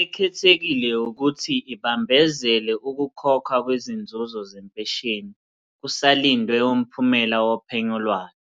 Ekhethekile ukuthi ibambezele ukukhokhwa kwezinzuzo zempesheni, kusalindwe umphumela wophenyo lwayo,